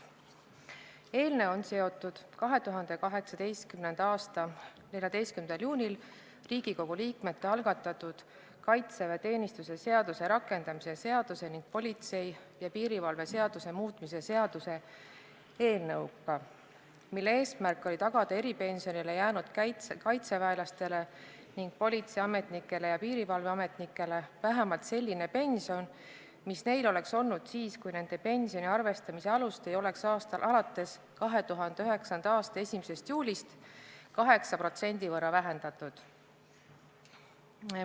Eelnõu on seotud Riigikogu liikmete 2018. aasta 14. juunil algatatud kaitseväeteenistuse seaduse rakendamise seaduse ning politsei ja piirivalve seaduse muutmise seaduse eelnõuga, mille eesmärk oli tagada eripensionile jäänud kaitseväelastele ning politseiametnikele ja piirivalveametnikele vähemalt selline pension, mis neile oleks olnud siis, kui nende pensioni arvestamise alust ei oleks alates 2009. aasta 1. juulist 8% võrra vähendatud.